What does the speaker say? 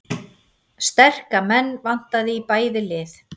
Sterka menn vantaði í bæði lið